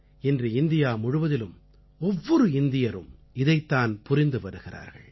இன்று இந்தியா முழுவதிலும் ஒவ்வொரு இந்தியரும் இதைத் தான் புரிந்து வருகிறார்கள்